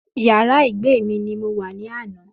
Yàrá ìgbé mi ni mo wà ní àná